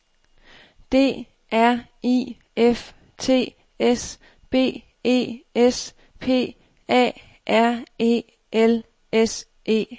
D R I F T S B E S P A R E L S E R